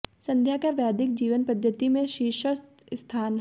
सन्ध्या का वैदिक जीवन पद्धति में शीर्षस्थ स्थान है